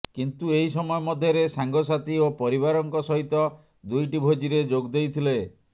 କିନ୍ତୁ ଏହି ସମୟ ମଧ୍ୟରେ ସାଙ୍ଗସାଥୀ ଓ ପରିବାରଙ୍କ ସହିତ ଦୁଇଟି ଭୋଜିରେ ଯୋଗ ଦେଇଥିଲେ